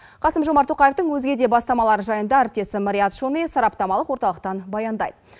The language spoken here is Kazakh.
қасым жомарт тоқаевтың өзге де бастамалары жайында әріптесім риат шони сараптамалық орталықтан баяндайды